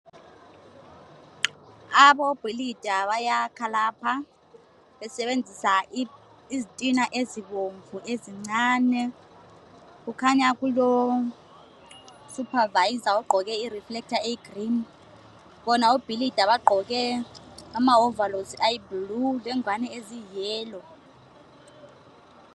Abobhilida bayakha lapha besebenzisa izitina ezibomvu ezincane. Kukhanya kulosupervisor ogqoke ireflector eyigreen, bona ibhilida bagqoke amawovalosi ayiblue lengwane eziyiyellow.